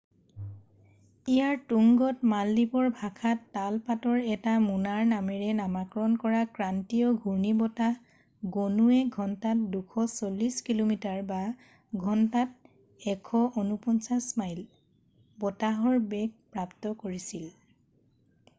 ইয়াৰ তুংগত মালদ্বীপৰ ভাষাত তাল পাতৰ এটা মোনাৰ নামেৰে নামাকৰণ কৰা ক্ৰান্তীয় ঘূৰ্ণী বতাহ গণুৱে ঘন্টাত 240 কিল’মিটাৰৰঘন্টাত 149 মাইল বতাহৰ বেগ প্ৰাপ্ত কৰিছিল।